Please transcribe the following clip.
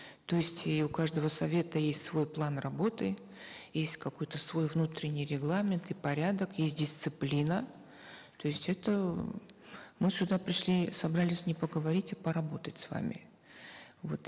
то есть и у каждого совета есть свой план работы есть какой то свой внутренний регламент и порядок есть дисциплина то есть это м мы сюда пришли собрались не поговорить а поработать с вами вот